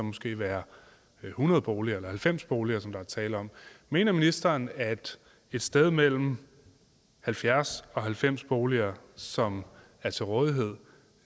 måske være hundrede boliger eller halvfems boliger som der er tale om mener ministeren at et sted mellem halvfjerds og halvfems boliger som er til rådighed